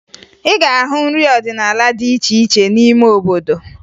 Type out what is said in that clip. Ị ga-ahụ nrị ọdịnaala dị iche iche n'ime obodo